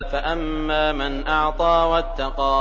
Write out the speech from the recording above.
فَأَمَّا مَنْ أَعْطَىٰ وَاتَّقَىٰ